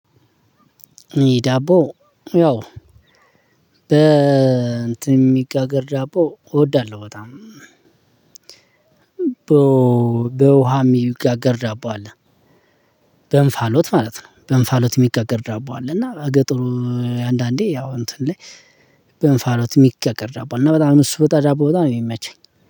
ዳቦ ያው በትን ሚጋገር ዳቦ እወዳለሁ በጣም። በውሃ የሚጋገር ዳቦ አለ በንፋሎት ማለት ነው በእንፋሎት የሚጋገር ዳቦ አለ። እና ገጠሩ አንዳንዴ ያው እንትን ላይ በንፋሎት የሚቀቀር ዳቦ እና በጣም እሱ ወጣ ዳቦ በጣም ነው የሚመቸኝ።